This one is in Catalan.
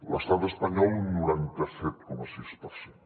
l’estat espanyol un noranta set coma sis per cent